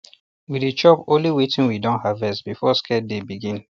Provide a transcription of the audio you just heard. we dey chop only wetin we don harvest before sacred day begin